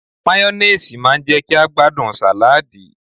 Máyónéèsì má ń jẹ́ kí a gbádùn sàláàdì